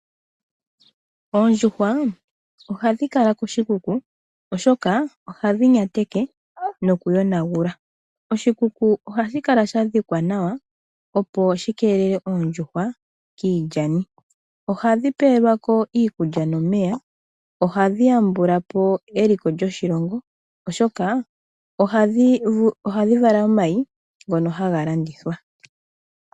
Oondjushwa ohadhi kala koshikuku oshoka ohadhi nyateke nokuyonagula. Oshikuku ohashi kala sha dhikwa nawa opo shi kelele oondjushwa kiilyani. Ohadhi pewelwa ko iikulya nomeya. Ohadhi yambula po eliko lyoshilongo oshoka ohadhi vala omayi ngoka haga landithwa.